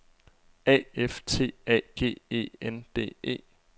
A F T A G E N D E